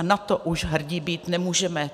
A na to už hrdí být nemůžeme.